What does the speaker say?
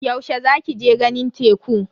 Yaushe za ki je ganin teku?